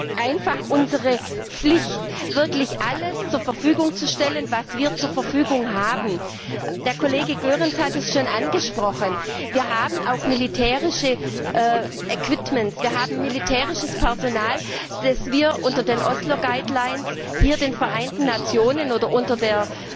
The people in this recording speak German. Es ist einfach unsere Pflicht, wirklich alles zur Verfügung zu stellen, was wir zur Verfügung haben. Der Kollege Goerens hat es schon angesprochen Wir haben auch militärische Ausrüstung, wir haben militärisches Personal, das wir unter den Osloer Leitlinien hier den Vereinten Nationen oder unter der